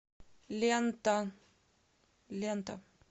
лента лента